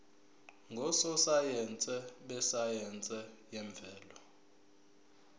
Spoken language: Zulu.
ngososayense besayense yemvelo